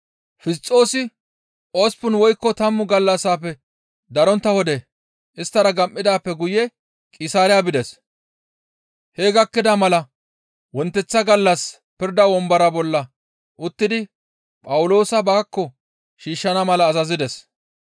Fisxoosi osppun woykko tammu gallassafe darontta wode isttara gam7idaappe guye Qisaariya bides; hee gakkida mala wonteththa gallas pirda wombora bolla uttidi Phawuloosa baakko shiishshana mala azazides.